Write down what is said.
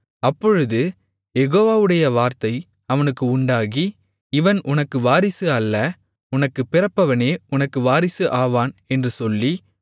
அப்பொழுது யெகோவாவுடைய வார்த்தை அவனுக்கு உண்டாகி இவன் உனக்கு வாரிசு அல்ல உனக்குப் பிறப்பவனே உனக்கு வாரிசு ஆவான் என்று சொல்லி